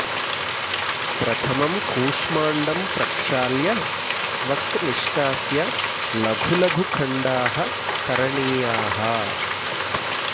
प्रथमम् कूष्माण्डं प्रक्षाल्य त्वक् निष्कास्य लघु लघु खण्डाः करणीयाः